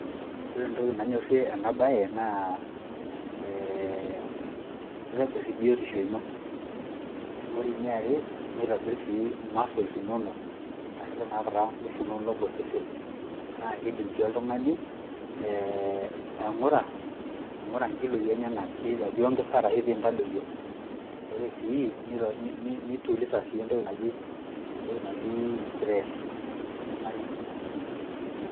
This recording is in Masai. Ore entoki nanyorie ena baye naa ee kitobir biotisho ino, ore eniare nitobir sii muscles inonok arashu tenekata nguvu inonok to sesen. Naake idim sii oltung'ani ee aing'ura aing'ura nkiloi enyenak either piongeza arashu piintadoyio'. Ore sii nituliza sii entoki naji entoki naji [cs stress toltung'ani.